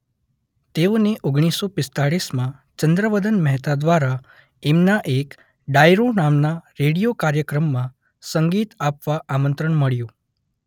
તેઓને ઓગણીસો પીસ્તાલીશ માં ચંદ્રવદન મહેતા દ્વારા એમના એક ડાયરો નામના રેડીયો કાર્યક્રમમાં સંગીત આપવા આમંત્રણ મળ્યું.